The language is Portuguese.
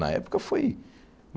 Na época, foi.